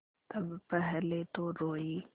तब पहले तो रोयी